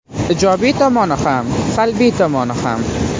Ijobiy tomonini ham, salbiy tomonini ham.